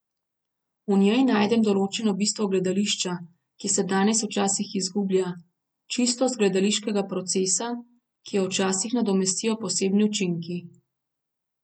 V njej najdem določeno bistvo gledališča, ki se danes včasih izgublja, čistost gledališkega procesa, ki jo včasih nadomestijo posebni učinki.